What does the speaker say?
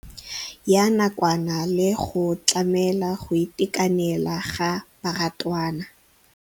Ya nakwana le go tlamela go itekanela ga barutwana.